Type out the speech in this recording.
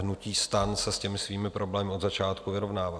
Hnutí STAN se s těmi svými problémy od začátku vyrovnává.